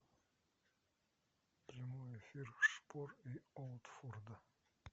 прямой эфир шпор и уотфорда